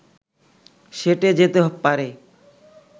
সেঁটে যেতে পারে